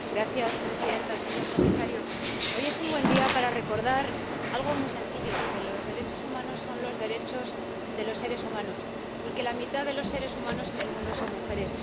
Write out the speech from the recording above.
Señora presidenta, señor comisario, hoy es un buen día para recordar algo muy sencillo que los derechos humanos son los derechos de los seres humanos y que la mitad de los seres humanos en el mundo son mujeres.